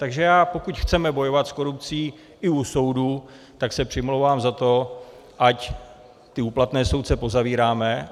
Takže já, pokud chceme bojovat s korupcí i u soudů, tak se přimlouvám za to, ať ty úplatné soudce pozavíráme.